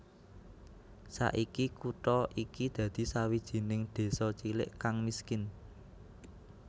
Saiki kutha iki dadi sawijining désa cilik kang miskin